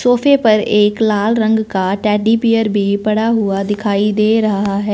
सोफे पर एक लाल रंग का टेडी बियर भी पड़ा हुआ दिखाई दे रहा है।